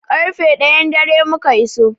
Ƙarfe ɗayan dare muka iso.